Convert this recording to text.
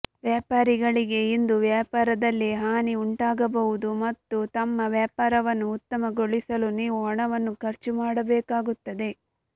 ವ್ಯಾಪಾರಿಗಳಿಗೆ ಇಂದು ವ್ಯಾಪಾರದಲ್ಲಿ ಹಾನಿ ಉಂಟಾಗಬಹುದು ಮತ್ತು ತಮ್ಮ ವ್ಯಾಪಾರವನ್ನು ಉತ್ತಮಗೊಳಿಸಲು ನೀವು ಹಣವನ್ನು ಖರ್ಚು ಮಾಡಬೇಕಾಗುತ್ತದೆ